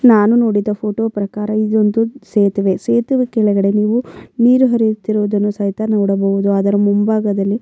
ನಾನು ನೋಡಿದ ಫೋಟೋ ಪ್ರಕಾರ ಇದೊಂದು ಸೇತುವೆ ಸೇತುವೆ ಕೆಳಗಡೆ ನೀವು ನೀರು ಹರಿಯುತ್ತಿರುವುದನ್ನು ಸಹಿತ ನೋಡಬಹುದು ಅದರ ಮುಂಬಾಗದಲ್ಲಿ --